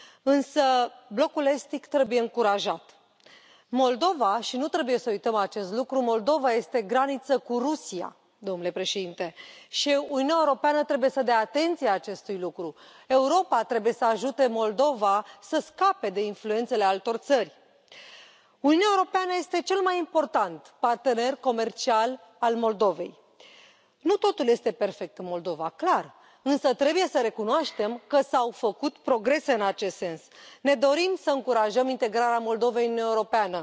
Însă blocul estic trebuie încurajat. Moldova, și nu trebuie să uităm acest lucru, Moldova este graniță cu Rusia, domnule președinte, și Uniunea Europeană trebuie să dea atenție acestui lucru. Europa trebuie să ajute Moldova să scape de influențele altor țări. Uniunea Europeană este cel mai important partener comercial al Moldovei. Nu totul este perfect în Moldova, clar, însă trebuie să recunoaștem că s au făcut progrese în acest sens. Ne dorim să încurajăm integrarea Moldovei în Uniunea Europeană.